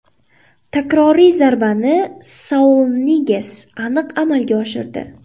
Takroriy zarbani Saul Niges aniq amalga oshirdi.